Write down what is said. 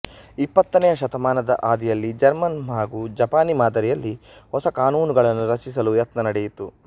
ಇಪ್ಪತ್ತನೆಯ ಶತಮಾನದ ಆದಿಯಲ್ಲಿ ಜರ್ಮನ್ ಹಾಗೂ ಜಪಾನೀ ಮಾದರಿಯಲ್ಲಿ ಹೊಸ ಕಾನೂನುಗಳನ್ನು ರಚಿಸಲು ಯತ್ನ ನಡೆಯಿತು